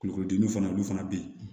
Kulukorodimi fana olu fana be yen